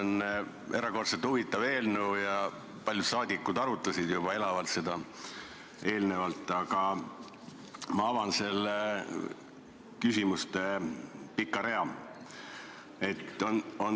See on erakordselt huvitav eelnõu ja paljud saadikud arutasid juba eelnevalt seda elavalt, aga ma avan pika küsimuste rea.